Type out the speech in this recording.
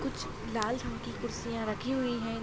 कुछ लाल रंग की कुर्सियां रखी हुई है।